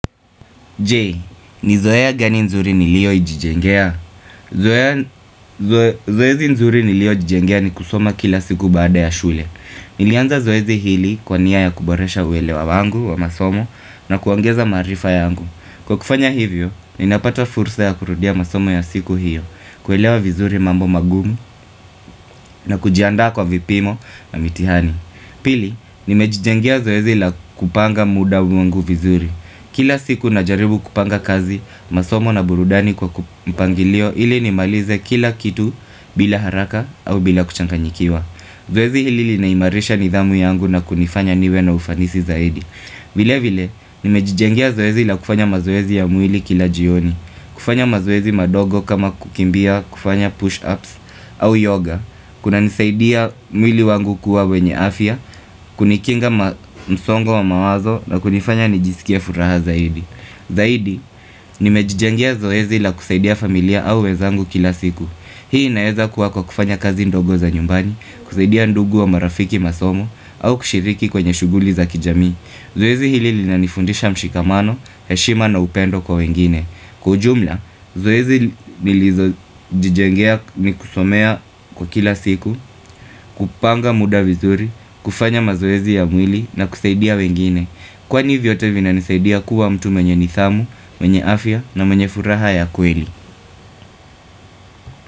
Je ni zoeja gani nzuri nilio jijengea? Zoea Zoezi nzuri nilio jijengea ni kusoma kila siku baada ya shule. Nilianza zoezi hili kwa niya ya kuboresha uwelewa wangu wa masomo na kuongeza maarifa yangu. Kwa kufanya hivyo, ninapato fursa ya kurudia masomo ya siku hiyo, kuelewa vizuri mambo mangumu na kujiandaa kwa vipimo na mitihani. Pili, nimejijengea zoezi ila kupanga muda vungu vizuri. Kila siku na jaribu kupanga kazi, masomo na burudani kwa ku mpangilio ili nimalize kila kitu bila haraka au bila kuchanganyikiwa Zoezi hili lina imarisha nidhamu yangu na kunifanya niwe na ufanisi zaidi vile vile, nimejijengea zoezi ila kufanya mazoezi ya mwili kila jioni kufanya mazoezi madogo kama kukimbia kufanya push ups au yoga Kuna nisaidia mwili wangu kuwa wenye afia, kunikinga msongo wa mawazo na kunifanya nijisikia furaha zaidi Zaidi, nimejijengea zoezi la kusaidia familia au wezangu kila siku Hii inaeza kuwa kwa kufanya kazi ndogo za nyumbani, kusaidia ndugu wa marafiki masomo au kushiriki kwenye shughuli za kijamii Zoezi hili linanifundisha mshikamano, heshima na upendo kwa wengine Kwa ujumla, zoezi nilizo jijengea ni kusomea kwa kila siku, kupanga muda vizuri, kufanya mazoezi ya mwili na kusaidia wengine Kwani vyote vina nisaidia kuwa mtu mwenye nidhamu, mwenye afya na mwenye furaha ya kweli.